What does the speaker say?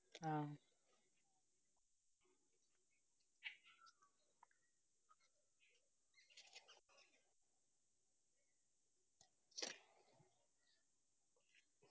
ആ